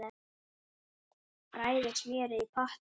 Bræðið smjörið í potti.